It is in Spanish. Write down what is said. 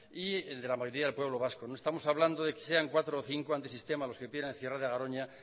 y el de la mayoría del pueblo vasco no estamos hablando de que sean cuatro o cinco antisistemas los que piden el cierre de garoña